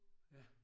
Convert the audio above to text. Ja